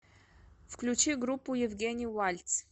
включи группу евгений вальц